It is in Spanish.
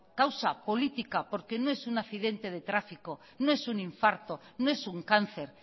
causa política porque no es un accidente de tráfico no es un infarto no es un cáncer